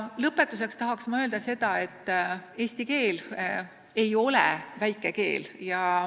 Lõpetuseks tahan öelda, et eesti keel ei ole väike keel.